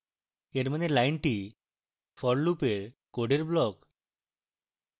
এর means লাইনটি for loop এর code block